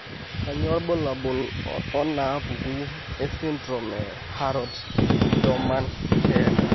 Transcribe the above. Kainyio irbulabul onaapuku esindirom eHarrod Doman Keele?